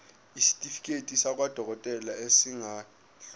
isitifiketi sakwadokodela esingadluli